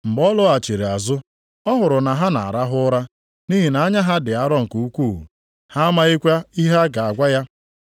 Mgbe ọ lọghachiri azụ ọ hụrụ na ha na-arahụ ụra, nʼihi na anya ha dị arọ nke ukwuu. Ha amakwaghị ihe ha ga-agwa ya.